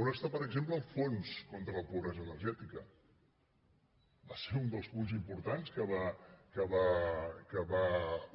on està per exemple el fons contra la pobresa energètica va ser un dels punts importants que va